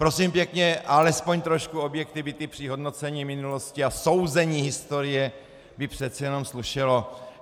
Prosím pěkně, alespoň trošku objektivity při hodnocení minulosti a souzení historie by přece jenom slušelo.